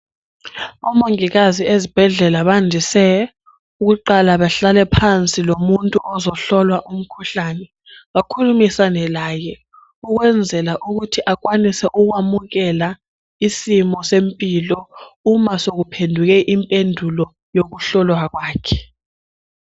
Omongikazi ezihedlela bandise ukuqala bahlale phansi lomuntu ozohlolwa umkhuhlane bakhulumisane laye ukwenzela ukuthi akwanise ukwamukela isimo sempilo uma sokuphenduke impendulo yokuhlolwa kwakhe.